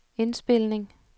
indspilning